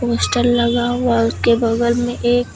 Poster लगा हुआ उसके बगल में एक।